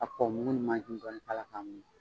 Ka kɔkɔ mugu ni dɔ k'a la k'a ɲagami